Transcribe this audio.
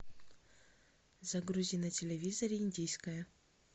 загрузи на телевизоре индийское